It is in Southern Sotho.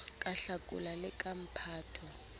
ka hlakola le ka phato